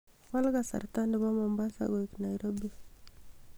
wal kasarta nebo mombasa koik nairobi